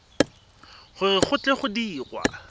gore go tle go dirwe